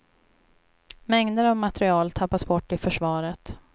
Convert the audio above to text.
Mängder av material tappas bort i försvaret.